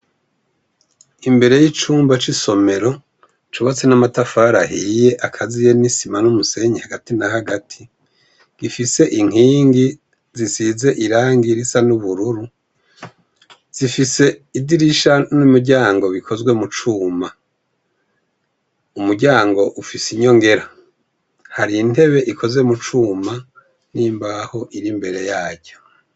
Imbere y'icumba c'isomero cubatse n'amatafari ahiye akaziye n'isima n'umusenyi hagati na hagati. Gifise inkingi zisize irangi risa n'ubururu zifise idirisha n'umuryango bikozwe mucuma. Umuryango ufise inyongera. Har'intebe ikoze mucuma n'imbaho ir'imbere yaryo.